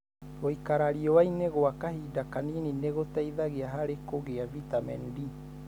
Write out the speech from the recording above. Gũikara riũanĩ gwa kahinda kanini nĩ gũteithagia harĩ kũgia vitamin D.